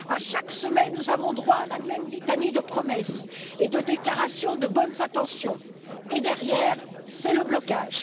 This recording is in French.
Chaque semaine, nous avons droit à la même litanie de promesses et de déclarations de bonnes intentions et, derrière, c'est le blocage.